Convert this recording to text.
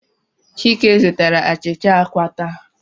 Chike zụtara achịcha àkwá taa.